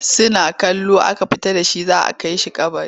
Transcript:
Suna kallo aka fita da shi za a kai shi kabari.